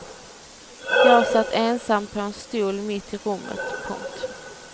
Jag satt ensam på en stol mitt i rummet. punkt